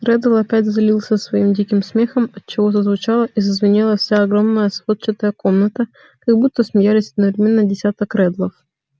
реддл опять залился своим диким смехом отчего зазвучала и зазвенела вся огромная сводчатая комната как будто смеялись одновременно десяток реддлов